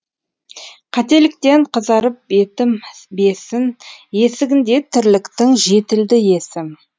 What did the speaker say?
қателіктен қызарып бетім бесін есігінде тірліктің жетілді есім